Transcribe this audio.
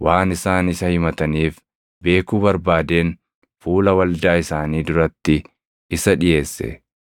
Anis waan isaan isa himataniif beekuu barbaadeen fuula waldaa isaanii duratti isa dhiʼeesse.